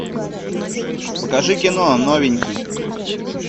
покажи кино новенький